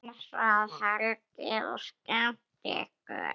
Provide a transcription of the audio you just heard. Dansað, hlegið og skemmt ykkur.